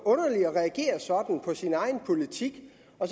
reagere sådan på sin egen politik